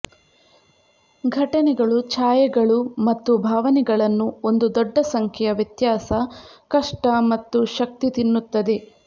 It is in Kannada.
ಘಟನೆಗಳು ಛಾಯೆಗಳು ಮತ್ತು ಭಾವನೆಗಳನ್ನು ಒಂದು ದೊಡ್ಡ ಸಂಖ್ಯೆಯ ವ್ಯತ್ಯಾಸ ಕಷ್ಟ ಮತ್ತು ಶಕ್ತಿ ತಿನ್ನುತ್ತದೆ